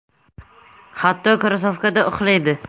Hatto, krossovkada uxlaydi.